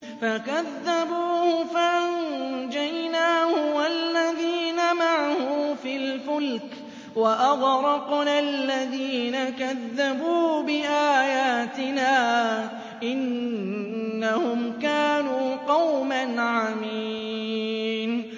فَكَذَّبُوهُ فَأَنجَيْنَاهُ وَالَّذِينَ مَعَهُ فِي الْفُلْكِ وَأَغْرَقْنَا الَّذِينَ كَذَّبُوا بِآيَاتِنَا ۚ إِنَّهُمْ كَانُوا قَوْمًا عَمِينَ